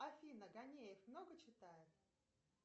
афина ганеев много читает